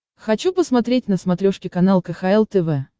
хочу посмотреть на смотрешке канал кхл тв